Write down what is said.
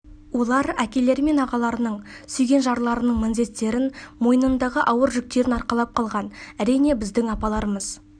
олар әкелері мен ағаларының сүйген жарларының міндеттерін мойнындағы ауыр жүктерін арқалап қалған әрине біздің апаларымыз